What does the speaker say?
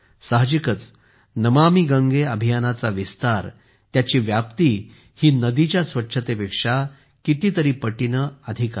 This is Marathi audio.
साहजिकच नमामि गंगे अभियानाचा विस्तार त्याची व्याप्ती ही नदीच्या स्वच्छतेपेक्षा कितीतरी पटीने अधिक आहे